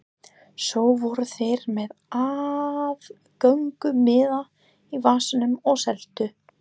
Svo voru þeir með aðgöngumiða í vasanum og seldu.